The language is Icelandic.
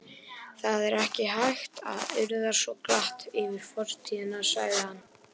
Það er ekki hægt að urða svo glatt yfir fortíðina sagði hann.